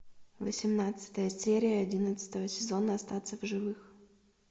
восемнадцатая серия одиннадцатого сезона остаться в живых